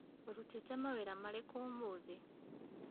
Ũrutĩte mawĩra marĩkũ ũmũthĩ?